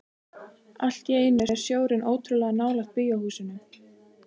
Allt í einu er sjórinn ótrúlega nálægt bíóhúsinu.